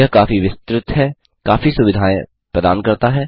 यह काफी विस्तृत है काफी सुविधाएं प्रदान करता है